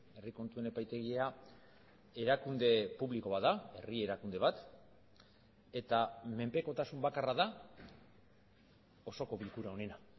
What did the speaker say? herri kontuen epaitegia erakunde publiko bat da herri erakunde bat eta menpekotasun bakarra da osoko bilkura honena